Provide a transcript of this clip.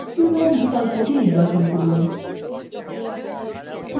বাম দিকে document বিকল্পটি নির্বাচন করুন